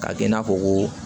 K'a kɛ i n'a fɔ ko